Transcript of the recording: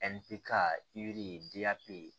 ye